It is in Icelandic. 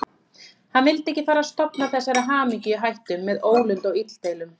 Hann vildi ekki fara að stofna þessari hamingju í hættu með ólund og illdeilum.